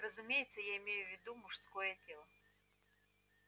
разумеется я имею в виду мужское тело